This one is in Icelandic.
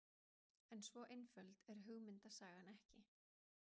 En svo einföld er hugmyndasagan ekki.